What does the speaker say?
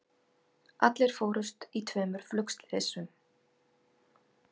Allir fórust í tveimur flugslysum